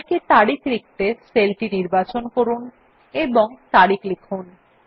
Calc এ তারিখ লিখতে সেলটি নির্বাচন করুন এবং তারিখ লিখুন